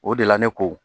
O de la ne ko